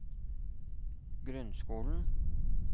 grunnskolen